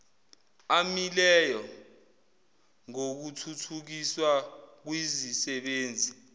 amileyo ngokuthuthukiswa kwizisebenzi